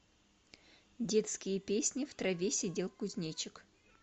детские песни в траве сидел кузнечик